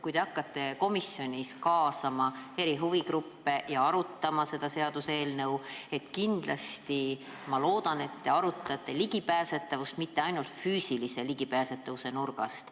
Kui te hakkate komisjonis kaasama huvigruppe ja seda seaduseelnõu arutama, siis ma loodan, et te arutate ligipääsetavust mitte ainult füüsilise ligipääsetavuse vaatenurgast.